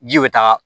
Ji bɛ taga